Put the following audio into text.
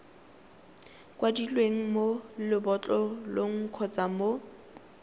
kwadilweng mo lebotlolong kgotsa mo